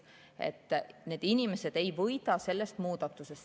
Need inimesed ei võida sellest muudatusest.